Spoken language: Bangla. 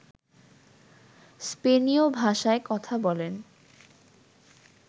স্পেনীয় ভাষায় কথা বলেন